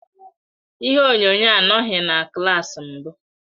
Ihe onyonyo anọghị na klas mbụ.